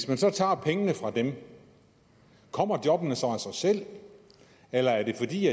man så tager pengene fra dem kommer jobbene så af sig selv eller er det fordi